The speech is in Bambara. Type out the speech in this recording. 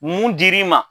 Mun dir'i ma